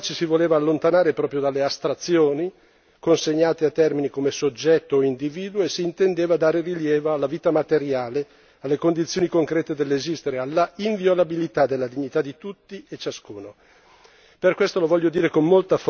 Al contrario, con quella parola ci si voleva allontanare proprio dalle astrazioni consegnate a termine come soggetto e individuo e si intendeva dare rilievo alla vita materiale, alle condizioni concrete dell'esistere, alla inviolabilità della dignità di tutti e ciascuno.